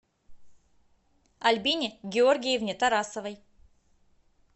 альбине георгиевне тарасовой